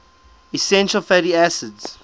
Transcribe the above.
essential fatty acids